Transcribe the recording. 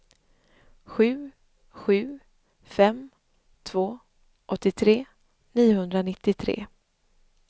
sju sju fem två åttiotre niohundranittiotre